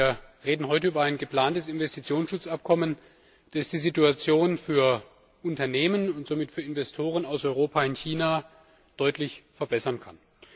Wir reden heute über ein geplantes Investitionsschutzabkommen, das die Situation für Unternehmen und somit für Investoren aus Europa in China deutlich verbessern kann.